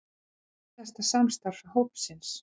Ekki síðasta samstarf hópsins